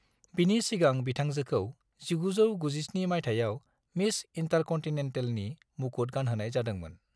बिनि सिगां बिथांजोखौ 1997 मायथाइयाव मिस इन्टारकन्टिनेन्टेलनि मुकुट गानहोनाय जादोंमोन।